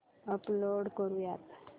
upload करुयात